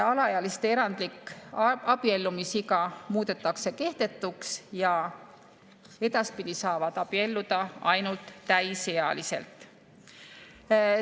Alaealiste erandlik abiellumisiga muudetakse kehtetuks ja edaspidi saavad abielluda ainult täisealised.